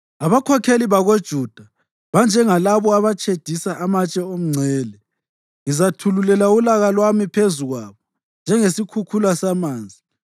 Abakhokheli bakoJuda banjengalabo abatshedisa amatshe omngcele. Ngizathululela ulaka lwami phezu kwabo njengesikhukhula samanzi.